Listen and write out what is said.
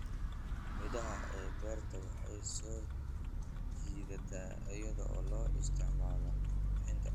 Midhaha ee beerta waxay soo jiidataa iyadoo loo isticmaalo qurxinta.